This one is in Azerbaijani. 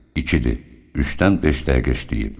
İkidir, üçdən beş dəqiqə işləyib.